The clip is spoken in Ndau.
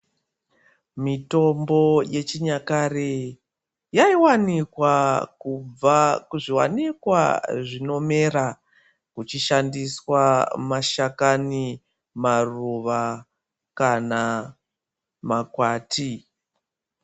Mitombo yechinyakare yaiwanikwa kubva kuzviwanikwa zvinomera kuchishandiswa mashakani maruva kana makwati.